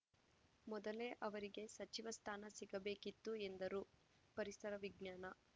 ಮೊದಲೇ ಅವರಿಗೆ ಸಚಿವ ಸ್ಥಾನ ಸಿಗಬೇಕಿತ್ತು ಎಂದರು ಪರಿಸರ ವಿಜ್ಞಾನ